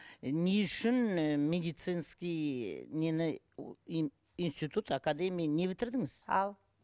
не үшін ы медицинский нені институт академия не бітірдіңіз ау